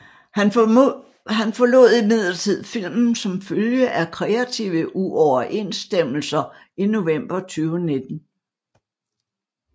Han forlod imidlertid filmen som følge af kreative uoverensstemmelser i november 2019